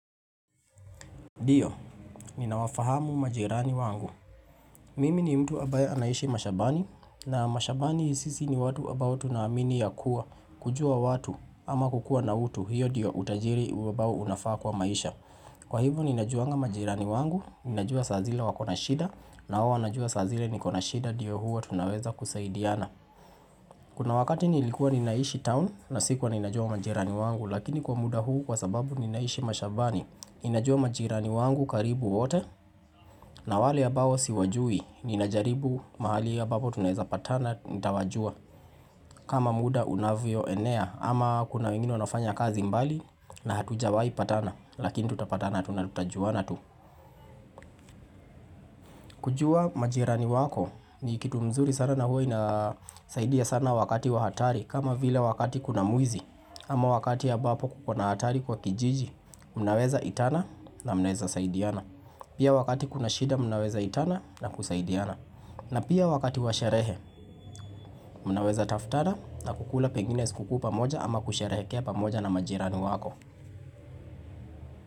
Ndio, ninawafahamu majirani wangu Mimi ni mtu ambae anaishi mashambani na mashambani sisi ni watu ambao tunaamini ya kuwa kujua watu ama kukuwa na utu hiyo diyo utajiri ambao unafaa kwa maisha Kwa hivyo ninajuwa majirani wangu Ninajuwa saa zile wakona shida na wanajua saa zile nikona shida ndio huo tunaweza kusaidiana Kuna wakati nilikuwa nina hishi town na sikuwa ninajuwa majirani wangu Lakini kwa muda huu kwa sababu ninaishi mashambani ninajua majirani wangu karibu wote na wale ambao siwajui, ninajaribu mahali ambapo tunaweza patana, nitawajua. Kama muda unavyo enea, ama kuna wengine wanafanya kazi mbali na hatujawai patana, lakini tutapatana tunalutajua natu. Kujua majirani wako, ni kitu mzuri sana na huo inasaidia sana wakati wa hatari, kama vile wakati kuna mwizi, ama wakati ya ambapo kuko na hatari kwa kijiji, mnaweza itana na mnaweza saidiana. Pia wakati kuna shida mnaweza itana na kusaidiana. Na pia wakati wa sherehe, munaweza taftada na kukula pengine skukuu pamoja ama kusherehe kia pamoja na majirani wako.